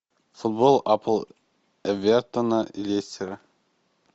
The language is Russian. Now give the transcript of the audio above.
футбол апл эвертона и лестера